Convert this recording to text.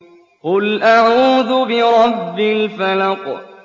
قُلْ أَعُوذُ بِرَبِّ الْفَلَقِ